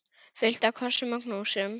Fullt af kossum og knúsum.